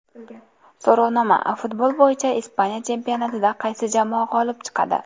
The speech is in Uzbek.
So‘rovnoma: Futbol bo‘yicha Ispaniya chempionatida qaysi jamoa g‘olib chiqadi?.